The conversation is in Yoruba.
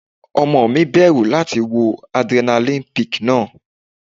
Ọmọ mi bẹ̀rù láti wọ Adrenaline peak náà.